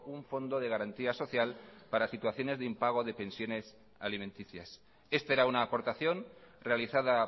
un fondo de garantía social para situaciones de impago de pensiones alimenticias este era una aportación realizada